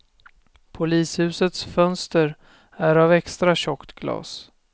Polishusets fönster är av extra tjockt glas.